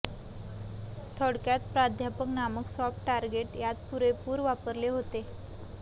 थोडक्यात प्राध्यापक नामक सॉफ्ट टारगेट यात पुरेपूर वापरले होते